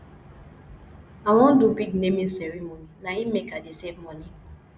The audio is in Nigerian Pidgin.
i wan do big naming ceremony na im make i dey save moni